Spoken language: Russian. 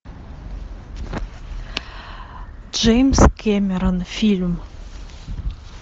джеймс кэмерон фильм